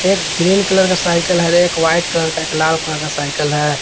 Green colour का cycle हर एक वाइट कलर का एक लाल कलर का साइकल है।